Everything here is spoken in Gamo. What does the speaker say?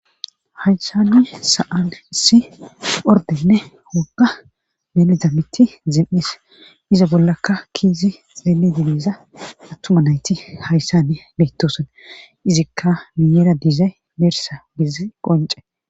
Haysane sa7an isi ordenne wogga beltamitti zim7is iza bollakka kiizi xeeli dileza attuma nayti hayssane beettosan izikka miyeera diizay beersa bizi qonce